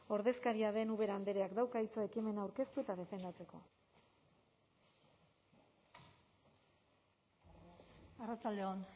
ordezkaria den ubera andreak dauka hitza ekimena aurkeztu eta defendatzeko arratsalde on